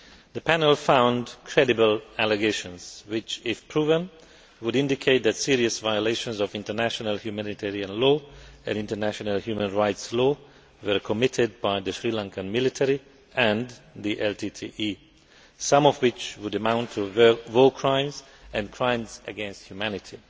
The panel found credible allegations which, if proven, would indicate that serious violations of international humanitarian law and international human rights law were committed by the Sri Lankan military and the LTTE, some of which would amount to war crimes and crimes against humanity.